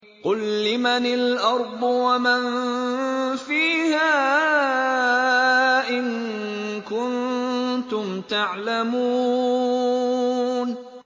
قُل لِّمَنِ الْأَرْضُ وَمَن فِيهَا إِن كُنتُمْ تَعْلَمُونَ